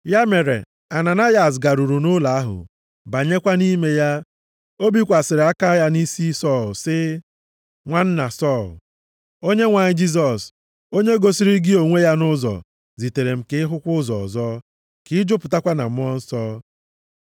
Ya mere, Ananayas garuru nʼụlọ ahụ, banyekwa nʼime ya. Ọ bikwasịrị aka ya nʼisi Sọl, sị, “Nwanna Sọl, Onyenwe anyị Jisọs, onye gosiri gị onwe ya nʼụzọ, zitere m ka ị hụkwa ụzọ ọzọ, ka ị jupụtakwa na Mmụọ Nsọ.”